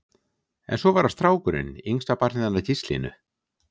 En svo var það strákurinn, yngsta barnið hennar Gíslínu.